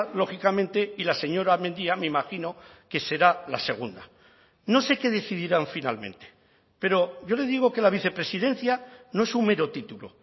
lógicamente y la señora mendia me imagino que será la segunda no sé qué decidirán finalmente pero yo le digo que la vicepresidencia no es un mero título